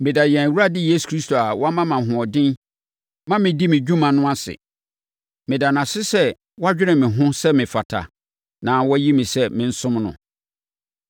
Meda yɛn Awurade Yesu Kristo a wama me ahoɔden ma medi me dwuma no ase. Meda no ase sɛ wadwene me ho sɛ mefata na wayi me sɛ mensom no.